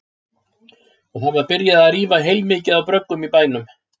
Og það var byrjað að rífa heilmikið af bröggum í bænum.